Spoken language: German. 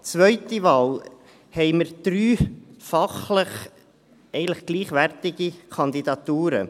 Zweite Wahl: Wir haben drei fachlich eigentlich gleichwertige Kandidaturen.